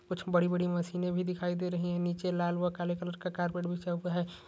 कुछ बड़ी बड़ी मशीने भी दिखाई दे रही है नीचे लाल व काले कलर का कारपेट बिछा हुआ है।